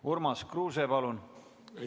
Urmas Kruuse, palun!